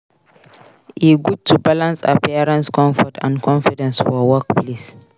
E good to balance appearance comfort and confidence for workplace.